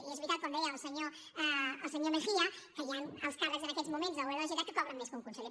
i és veritat com deia el senyor mejía que hi han alts càrrecs en aquests moments al govern de la generalitat que cobren més que un conseller